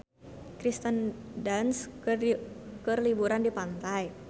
Kirsten Dunst keur liburan di pantai